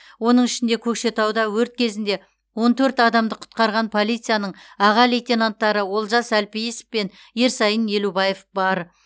оның ішінде көкшетауда өрт кезінде он төрт адамды құтқарған полицияның аға лейтенанттары олжас әлпейісов пен ерсайын елубаев бар